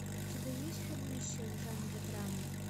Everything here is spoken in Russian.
у тебя есть фильмище в жанре драма